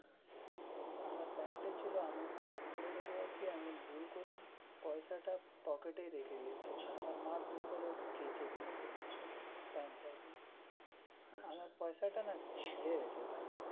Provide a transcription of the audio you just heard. আমার প্যান্টে ছিল আমি খুলে রেখে গেছি আমি ভুল করে পয়সাটা পকেটে রেখে দিয়েছি আমার মা ভুল করে কেচে দিয়েছে প্যান্টটাকে আমার পয়সাটা না ছিঁড়ে গেছে ভাই.